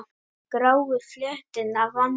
Gráu fletina vanti.